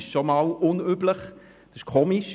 Dies sei schon mal unüblich und merkwürdig.